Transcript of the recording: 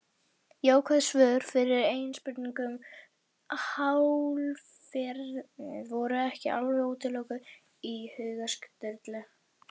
Jákvæð svör við eigin spurningum um hálfrímið voru ekki alveg útilokuð í huga Sturlu.